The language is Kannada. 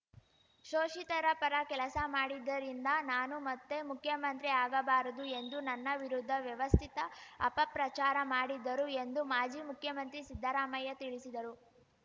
ಶೋಷಿತರ ಪರ ಕೆಲಸ ಮಾಡಿದ್ದರಿಂದ ನಾನು ಮತ್ತೆ ಮುಖ್ಯಮಂತ್ರಿ ಆಗಬಾರದು ಎಂದು ನನ್ನ ವಿರುದ್ಧ ವ್ಯವಸ್ಥಿತ ಅಪಪ್ರಚಾರ ಮಾಡಿದ್ದರು ಎಂದು ಮಾಜಿ ಮುಖ್ಯಮಂತ್ರಿ ಸಿದ್ದರಾಮಯ್ಯ ತಿಳಿಸಿದರು